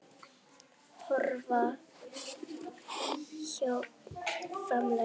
Horfa hérna framhjá!